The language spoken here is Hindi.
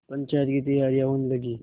पंचायत की तैयारियाँ होने लगीं